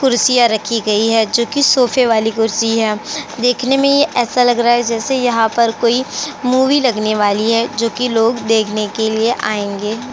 कुर्सियाँ रखी गई हैं जोकि सोफ़े वाली कुर्सी है देखने में ऐसा लाग रहा है जैसे यहाँ पर कोई मूवी लगने वाली है जोकि लोग देखने के लिए आएंगे।